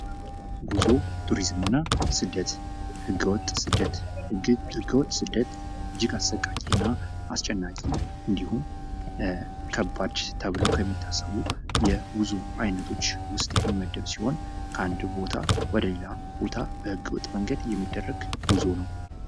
ጉዞ ፣ ቱሪዝምና ስደት ፦ ህገወጥ ስደት ፦ ህገወጥ ስደት እጅግ አሰቃቂ እና አስጨናቂ እንዲሁም ከባድ ተብሎ ከሚታሰቡ የጉዞ አይነቶች ውስጥ የሚመደብ ሲሆን ከአንድ ቦታ ወደሌላ ቦታ በህገወጥ መንገድ የሚደረግ ጉዞ ነው ።